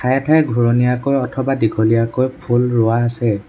ঠায়ে ঠায়ে ঘূৰণীয়াকৈ অথবা দীঘলীয়াকৈ ফুল ৰুৱা আছে।